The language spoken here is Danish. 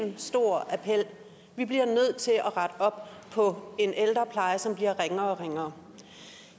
én stor appel vi bliver nødt til at rette op på en ældrepleje som bliver ringere og ringere